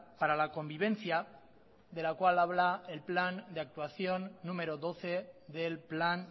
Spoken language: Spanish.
para la convivencia de la cual habla el plan de actuación número doce del plan